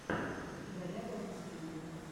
игорява в ютьюбе